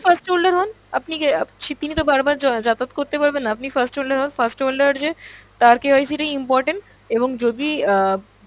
first holder হন, আপনি তিনি তো বারবার যা~ যাতায়াত করতে পারবেন না, আপনি first holder হন first holder যে তার KYC টাই important এবং যদি আহ